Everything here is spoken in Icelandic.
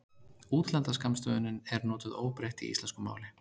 útlenda skammstöfunin er notuð óbreytt í íslensku máli